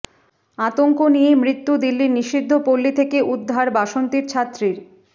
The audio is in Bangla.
আতঙ্ক নিয়েই মৃত্যু দিল্লির নিষিদ্ধ পল্লি থেকে উদ্ধার বাসন্তীর ছাত্রীর